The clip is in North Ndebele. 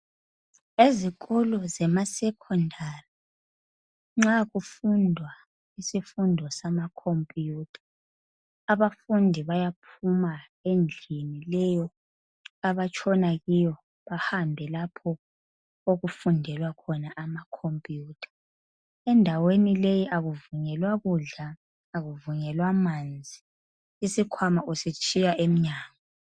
Ezikolo zemasecondary nxa kufundwa isifundo samakhompiyutha abafundi bayaphuma endlini le abatshona kiyo bahambe lapho okufundelwa khona amakhompiyutha. Endaweni leyi akuvunyelwa kudla akuvunyelwa manzi iskhwama usitshiya emnyango.